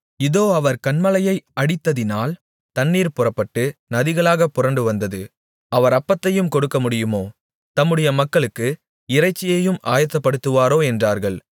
இதோ அவர் கன்மலையை அடித்ததினால் தண்ணீர் புறப்பட்டு நதிகளாகப் புரண்டுவந்தது அவர் அப்பத்தையும் கொடுக்கமுடியுமோ தம்முடைய மக்களுக்கு இறைச்சியையும் ஆயத்தப்படுத்துவாரோ என்றார்கள்